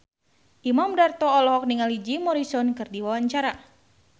Imam Darto olohok ningali Jim Morrison keur diwawancara